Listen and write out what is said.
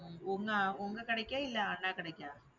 உங்க உங்க கடைக்கா? இல்லை அண்ணா கடைக்கா